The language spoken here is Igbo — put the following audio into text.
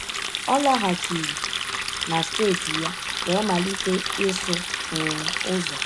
Ọ laghachiri na steeti ya wee malite ịsụ um ụzọ.